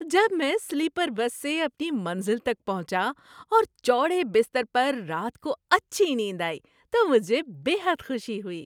جب میں sleeper bus سے اپنی منزل تک پہنچا اور چوڑے بستر پر رات کو اچھی نیند آئی تو مجھے بے حد خوشی ہوئی۔